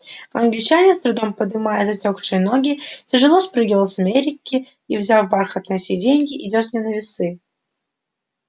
англичанин с трудом подымая затёкшие ноги тяжело спрыгивает с американки и сняв бархатное сиденье идёт с ним на весы